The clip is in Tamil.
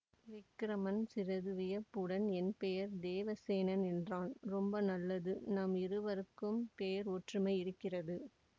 விக்கிரமன் சிறிது வியப்புடன் என் பெயர் தேவசேனன் என்றான் ரொம்ப நல்லது நம் இருவருக்கும் பெயர் ஒற்றுமை இருக்கிறது